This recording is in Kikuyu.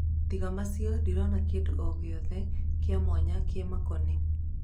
Tiga macio ndirona kĩndũogĩothe kĩamwanya kĩmakoniĩ.